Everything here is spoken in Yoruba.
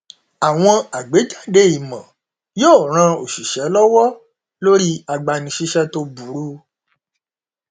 àwọn àgbéjáde ìmò yóò ran oṣìṣẹ lọwọ lórí agbanisíṣẹ tó burú